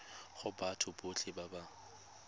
go batho botlhe ba ba